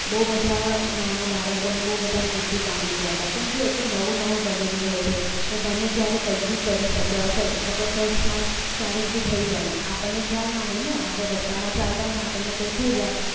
બહુ બધા નાના બાળકોને બહુ બધા મૃત્યુ પામી ગયા હતા કેમકે એ તો નવું નવું બનેલું હોય છે એ ગમે ત્યારે કંઈક કરી શક્યા અકસ્માત ક્યારેક ભી થઈ બને આપણને ખ્યાલ ના હોય ને આપણે રસ્તામાં ચાલતા અને આપણને કંઈ થઈ જાય